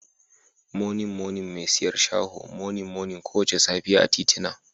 Monin monin mai siyar shaho monin monin kowace safiya a titina